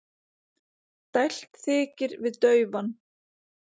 Dælt þykir við daufan.